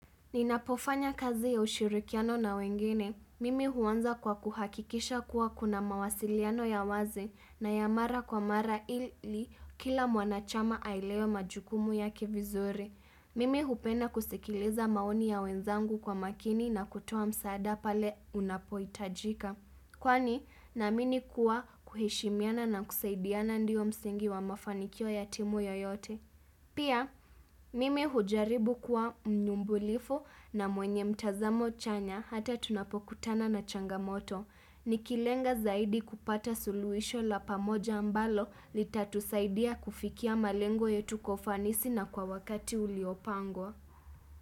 Ninapofanya kazi ya ushirikiano na wengine. Mimi huanza kwa kuhakikisha kuwa kuna mawasiliano ya wazi na ya mara kwa mara ili kila mwanachama aelewe majukumu yake vizuri. Mimi hupenda kusikiliza maoni ya wenzangu kwa makini na kutoa msaada pale unapohitajika. Kwani, naamini kuwa kuheshimiana na kusaidiana ndiyo msingi wa mafanikio ya timu yoyote. Pia, mimi hujaribu kuwa mnyumbulifu na mwenye mtazamo chanya hata tunapokutana na changamoto. Nikilenga zaidi kupata suluisho la pamoja ambalo litatusaidia kufikia malengo yetu kwa ufanisi na kwa wakati uliopangwa.